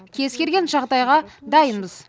кез келген жағдайға дайынбыз